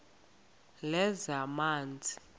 lezamanzi